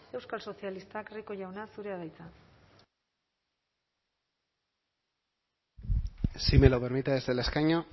euskal sozialistak rico jauna zurea da hitza si me lo permite desde el escaño